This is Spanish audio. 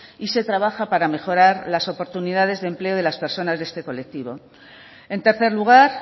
y se trabaja para mejorar las oportunidades de empleo de las personas de este colectivo en tercer lugar